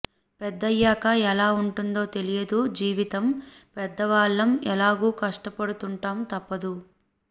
పెద్దయ్యాక ఎలా ఉంటుందో తెలియదు జీవితం పెద్దవాళ్ళం ఎలాగూ కష్టపడుతుంటాం తప్పదు